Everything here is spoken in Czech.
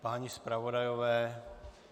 Páni zpravodajové?